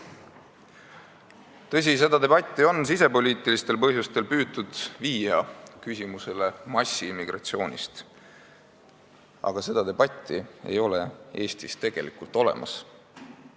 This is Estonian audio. Tõsi, seda debatti on sisepoliitilistel põhjustel püütud seostada massiimmigratsiooni küsimusega, mida ei ole Eestis tegelikult olemas.